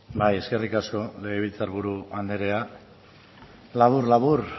bai eskerrik asko legebiltzar buru andrea labur labur